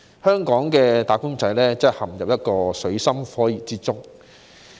香港的"打工仔"真的陷入水深火熱之中。